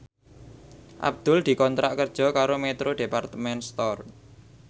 Abdul dikontrak kerja karo Metro Department Store